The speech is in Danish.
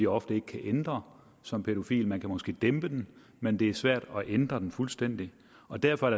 ofte ikke kan ændre som pædofil man kan måske dæmpe den men det er svært at ændre den fuldstændig og derfor er